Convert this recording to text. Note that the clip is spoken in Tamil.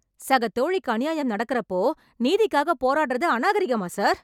சகதோழிக்கு அநியாயம் நடக்கறப்போ, நீதிக்காக போராடுறது அநாகரிகமா சார்?